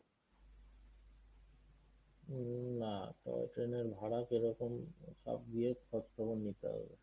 উম না toy train এর ভাড়া কিরকম সব গিয়ে খোঁজখবর নিতে হবে।